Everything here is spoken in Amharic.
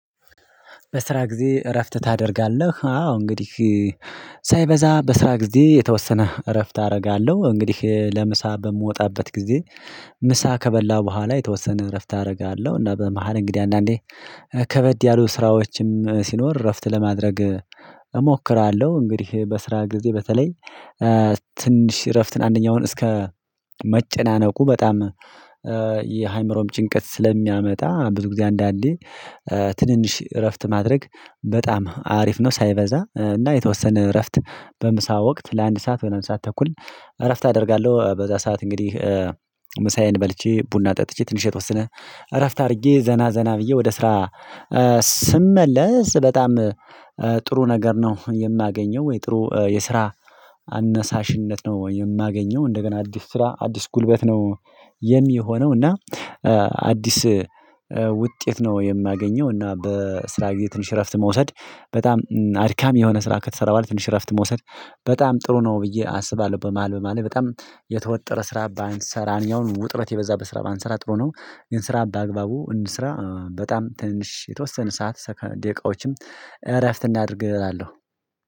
በስራ ጊዜ እረፍት ታደርጋለህ? አዎ እንግዲህ ሳይበዛ በስራ ጊዜ የተወሰነ እረፍት አደርጋለሁ። እንግዲህ ለምሳ በምወጣበት ጊዜ ምሳ ከበላው በኋላ የተወሰነ እረፍት አደርጋለሁ እና በመሃል እንግዲህ አንዳንዴ ከበድ ያሉ ስራዎችም ሲኖር እረፍት ለማድረግ እሞክራለሁ። እንግዲህ በስራ ጊዜ በተለይ ትንሽ እረፍትን አንደኛውን እስከ መጨናነቁ በጣም የአይምሮም ጭንቀት ስለሚያመጣ ብዙ ጊዜ አንዳንዴ ትንንሽ እረፍት ማድረግ በጣም አሪፍ ነው። ሳይበዛ እና የተወሰነ እረፍት በምሳ ወቅት ለአንድ ሰዓት ወይም ለ አንድ ሰዓት ተኩል እረፍት አደርጋለሁ። በዛ ሰዓት እንግዲህ ምሳዬን በልቼ ቡና ጠጥቼ ትንሽ የተወሰነ እረፍት አድርጌ ዘና ዘና ብዬ ወደ ስራ ስመለስ በጣም ጥሩ ነገር ነው። የማገኘው ወይ ጥሩ የስራ አነሳሽነት ነው የማገኘው እንደገና አዲስ ስራ አዲስ ጉልበት ነው የሚሆነው እና አዲስ ውጤት ነው የማገኘው። እና በስራ ጊዜ ትንሽ እረፍት መውሰድ በጣም አድካም የሆነ ስራ ከተሰራ በኋላ ትንሽ እረፍት መውሰድ በጣም ጥሩ ነው ብዬ አስባለሁ። በመሃል በመሃል በጣም የተወጠረ ስራ ባንሰራን ያውን ውጥረት የበዛበት ስራ ባንሰራ ጥሩ ነው። ግን ስራ በአግባቡ እንስራ በጣም ትንሽ የተወሰነ ሰዓት ደቂቃዎችም እረፍት እናድርግ እላለሁ።